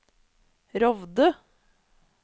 Rovde